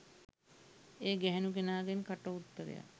ඒ ගැහැණු කෙනාගෙන් කට උත්තරයක්